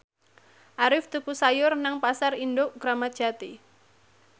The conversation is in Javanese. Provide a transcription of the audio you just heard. Arif tuku sayur nang Pasar Induk Kramat Jati